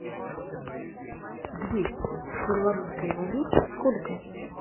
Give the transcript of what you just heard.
двести в белорусской валюте сколько